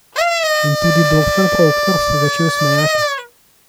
In tudi doktor Proktor se je začel smejati.